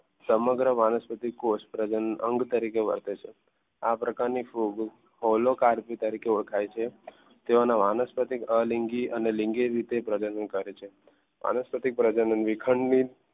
સમગ્ર વાનસ્પતિકોષ પ્રજનન અંગ તરીકે ઓળખે છે. આ પ્રકારની ફૂગ ફોલો કાર્તિક તરીકે ઓળખાય છે. તેઓના વાનસ્પતિકીય અને લિંગીય રીતે પ્રજનન કરે છે વાનસ્પતિ વિખંડિત